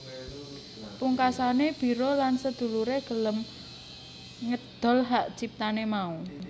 Pungkasane Biro lan sedulure gelem ngedol hak ciptane mau